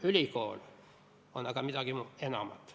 Ülikool on aga midagi enamat.